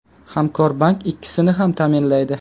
Hamkorbank ikkisini ham ta’minlaydi.